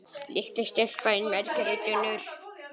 Litla stelpan þín, Margrét Unnur.